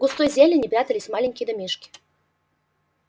в густой зелени прятались маленькие домишки